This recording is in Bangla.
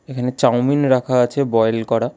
এখানে চাউমিন রাখা আছে বয়েল করা।